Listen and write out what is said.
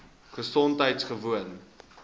gesondheidgewoon